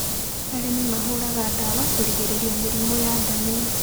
Arĩmi mahũraga ndawa kugirĩrĩria mĩrimũ ya ndania